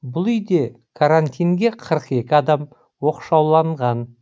бұл үйде карантинге қырық екі адам оқшауланған